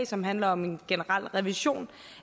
som handler om en generel revision